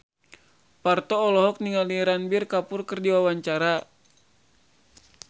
Parto olohok ningali Ranbir Kapoor keur diwawancara